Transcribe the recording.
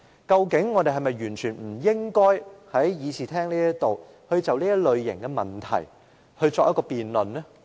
究竟我們是否完全不應在議事廳內就這類問題作出辯論？